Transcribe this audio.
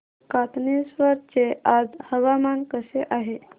कातनेश्वर चे आज हवामान कसे आहे